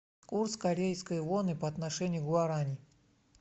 курс корейской воны по отношению к гуарани